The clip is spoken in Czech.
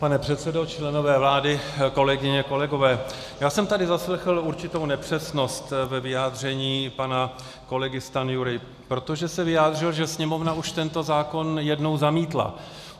Pane předsedo, členové vlády, kolegyně, kolegové, já jsem tady zaslechl určitou nepřesnost ve vyjádření pana kolegy Stanjury, protože se vyjádřil, že Sněmovna už tento zákon jednou zamítla.